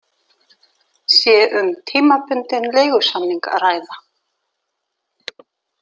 Sé um tímabundinn leigusamning að ræða.